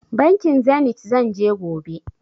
Bankin Zenit zan je gobe.